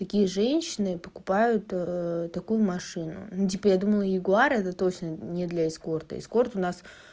такие женщины покупают такую машину ну типа я думал ягуар это точно не для эскорта эскорт у нас